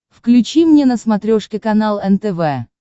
включи мне на смотрешке канал нтв